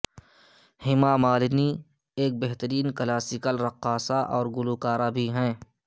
ہیما مالنی ایک بہترین کلاسیکل رقاصہ اور گلوکارہ بھی ہیں